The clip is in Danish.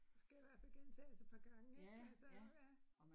Det skal i hvert fald gentages et par gange ik altså ja